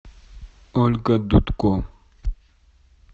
ольга дудко